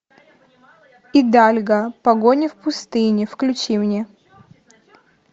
идальго погоня в пустыне включи мне